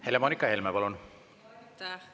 Helle-Moonika Helme, palun!